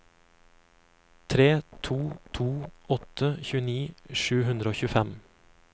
tre to to åtte tjueni sju hundre og tjuefem